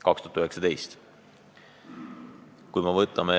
Ma mõistan, et iga plaani tegemisel ja elluviimisel võib tulla ette takistusi.